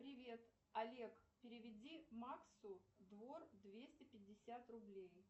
привет олег переведи максу двор двести пятьдесят рублей